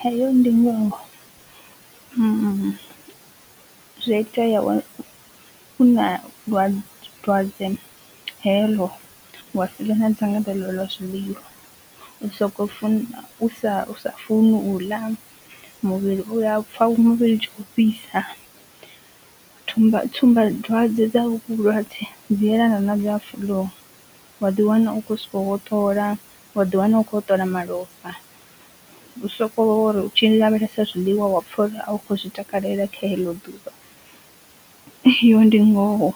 Heyo ndi ngoho zwi a itea u na dwa dwadze heḽo wa si vhe na dzangalelo ḽa zwiḽiwa u soko fu u sa funi u ḽa muvhili u ya pfha muvhili u tshi kho fhisa, thumba tsumba dzwadze dza hovhu vhulwadze dzi yelana na flu wa ḓi wana u khou sokou hoṱola wa ḓi wana u khou hoṱola malofha u soko ri tshi lavhelesa zwiḽiwa wa pfha uri a u kho zwi takalela kha heḽo ḓuvha, eyo ndi ngoho